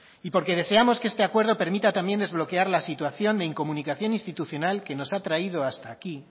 y porque deseamos que esta acuerdo permita también desbloquear la situación de incomunicación institucional que nos ha traído hasta aquí